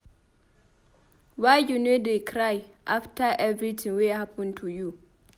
Why you no dey cry after everything wey happen to you?